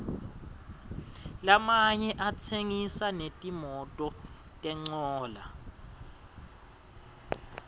lamanye atsengisa netimototincola